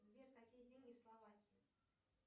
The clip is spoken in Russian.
сбер какие деньги в словакии